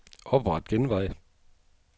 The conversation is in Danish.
Opret genvej.